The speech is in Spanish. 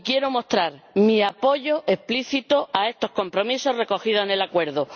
y quiero mostrar mi apoyo explícito a estos compromisos recogidos en el acuerdo.